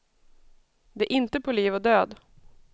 Det är inte på liv och död.